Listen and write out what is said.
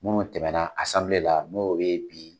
Munnu tɛmɛ na la n'o bɛ ye bi.